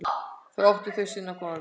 Þar áttu þau sinn góða vin.